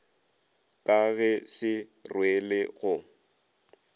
ka ge se rwele go